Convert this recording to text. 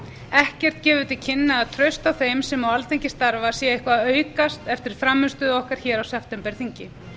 ekkert gefur til kynna að traust á þeim sem á alþingi starfa sé eitthvað að aukast eftir frammistöðu okkar hér á septemberþingi